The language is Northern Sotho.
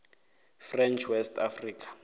french west africa